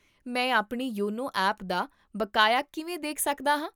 ਮੈਂ ਆਪਣੀ YONO app ਦਾ ਬਕਾਇਆ ਕਿਵੇਂ ਦੇਖ ਸਕਦਾ ਹਾਂ?